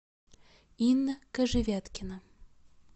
инна кожевяткина